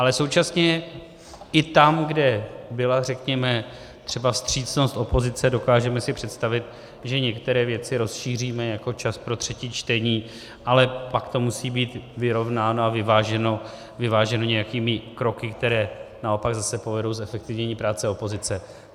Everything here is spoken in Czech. Ale současně i tam, kde byla řekněme třeba vstřícnost opozice, dokážeme si představit, že některé věci rozšíříme, jako čas pro třetí čtení, ale pak to musí být vyrovnáno a vyváženo nějakými kroky, které naopak zase povedou k zefektivnění práce opozice.